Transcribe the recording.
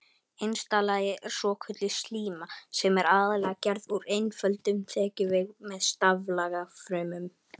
Innsta lagið er svokölluð slíma sem er aðallega gerð úr einföldum þekjuvef með staflaga frumum.